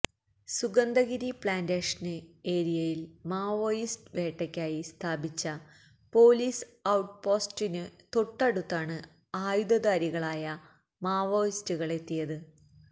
Sugandhagiri plantation ഏരിയയില് Maoist വേട്ടക്കായി സ്ഥാപിച്ച പൊലീസ് ഔട്ട് പോസ്റ്റിന് തൊട്ടടുത്താണ് ആയുധധാരികളായ മാവോയിസ്റ്റുകളെത്തിയത്